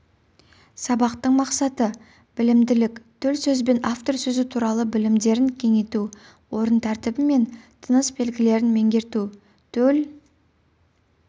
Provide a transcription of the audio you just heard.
сабақтың мақсаты білімділік төл сөз бен автор сөзі туралы білімдерін кеңейту орын тәртібі мен тыныс белгілерін меңгерту төл